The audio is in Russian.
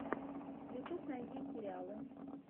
ютюб найди сериалы